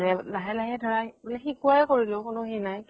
ধিৰে লাহে লাহে ধৰা শিকোৱাই কৰিলো কোনো সেই নাই